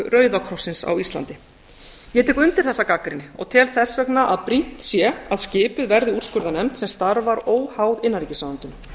rauðakrossins á íslandi ég tek undir þessa gagnrýni og tel þess vegna að brýnt sé að skipuð verði úrskurðarnefnd sem starfar óháð innanríkisráðuneytinu